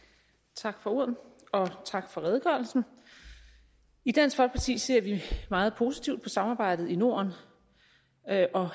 tak for ordet og tak for redegørelsen i dansk folkeparti ser vi meget positivt på samarbejdet i norden